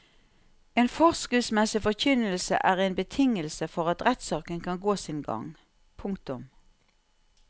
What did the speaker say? En forskriftsmessig forkynnelse er en betingelse for at rettssaken kan gå sin gang. punktum